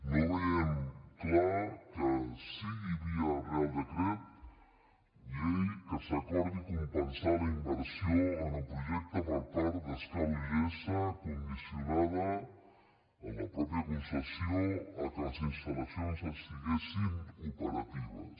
no veiem clar que sigui via reial decret llei que s’acor·di compensar la inversió en el projecte per part d’es·cal ugs condicionada en la mateixa concessió que les instal·lacions estiguessin operatives